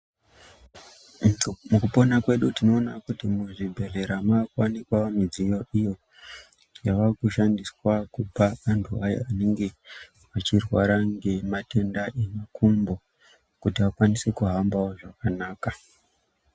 Mukupona kwedu tinoona kuti muzvibhedhlera maakuwanikwa midziyo iyo yavakushandiswa kupa antu ayo anenge echirwara ngematenda emakumbo kuti akwanise kuhambawo zvakanaka.